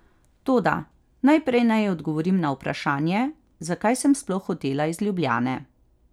Toda, najprej naj odgovorim na vprašanje, zakaj sem sploh hotela iz Ljubljane.